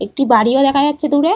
একটি বাড়িও দেখা যাচ্ছে দূরে-এ।